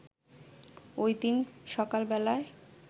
ওই দিন সকালবেলায়